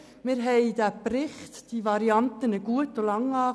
Wir haben die Varianten gut und lange geprüft.